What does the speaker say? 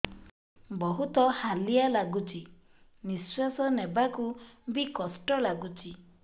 ବହୁତ୍ ହାଲିଆ ଲାଗୁଚି ନିଃଶ୍ବାସ ନେବାକୁ ଵି କଷ୍ଟ ଲାଗୁଚି